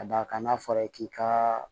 Ka d'a kan n'a fɔra i k'i ka